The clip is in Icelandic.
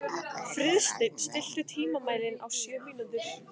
Friðsteinn, stilltu tímamælinn á sjö mínútur.